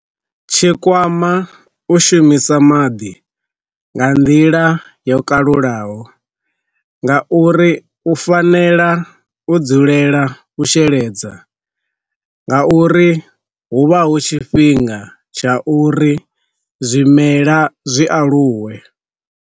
Tshikwama u shumisa maḓi nga nḓila yo kalulaho nga uri u fanela u dzulela u sheledza nga uri hu vha hu tshifhinga tsha uri zwimela zwi aluwe.